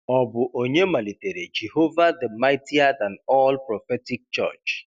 Ọ bụ onye malitere 'Jehova The Mightier Than All Prophetic Church'.